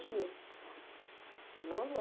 e dia. Ele não